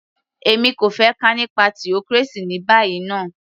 Èmi kò fẹ́ kà nípa theocracy ní báyìí ná